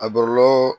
A bɔlɔlɔ